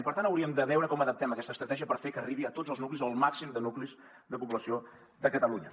per tant hauríem de veure com adaptem aquesta estratègia per fer que arribi a tots els nuclis o al màxim de nuclis de població de catalunya